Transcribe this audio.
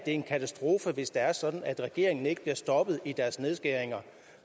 en katastrofe hvis det er sådan at regeringen ikke bliver stoppet i dens nedskæringer